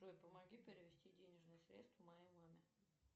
джой помоги перевести денежные средства моей маме